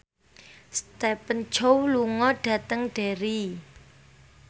Stephen Chow lunga dhateng Derry